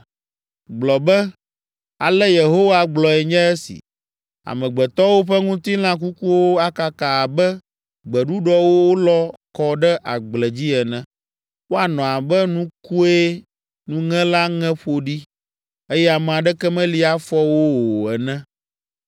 Gblɔ be, “Ale Yehowa gblɔe nye esi: “ ‘Amegbetɔwo ƒe ŋutilã kukuwo akaka abe gbeɖuɖɔ wolɔ kɔ ɖe agble dzi ene. Woanɔ abe nukue nuŋela ŋe ƒo ɖi, eye ame aɖeke meli afɔ wo o ene.’ ”